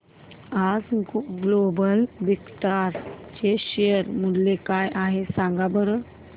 आज Global Vectra चे share मूल्य काय आहे सांगा बरं